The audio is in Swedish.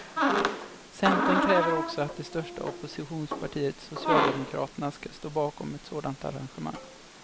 Centern kräver också att det största oppositionspartiet socialdemokraterna ska stå bakom ett sådant arrangemang.